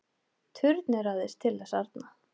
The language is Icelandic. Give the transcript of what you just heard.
Turneraðist til þess arna.